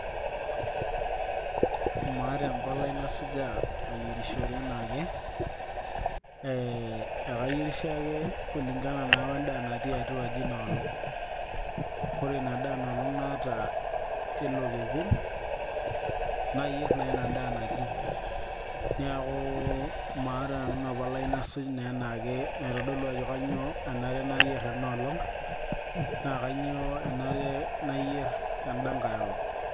maata empalai nasujaa ayierishore enaake ee ekayierisho ake kulingana naa wendaa natii atua aji inoolong ore ina daa inoolong naata tilo kekun nayierr naa ina daa natii niaku maata nanu ina palai nasuj naa enaake naitodolu ajo kanyio enare nayierr enolong naa kanyio enare nayierr endankay olong.